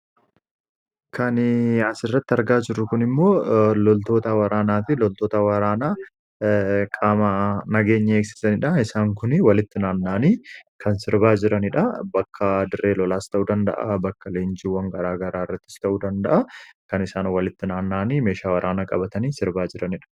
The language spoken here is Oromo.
kan asirratti argaa jirru kun immoo loltoota waraanaa fi loltoota waraanaa qaama nageenya eegsisaniidha. isaan kuni walitti naanna'anii kan sirbaa jiraniidha. bakka dirree lolaas ta'uu danda'a bakka leenjiwwan garaa garaa irrattis ta'uu danda'a kan isaan walitti naanna'anii meeshaa waraanaa qabatanii sirbaa jiraniidha.